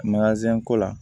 ko la